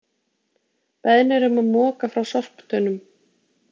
Beðnir um að moka frá sorptunnum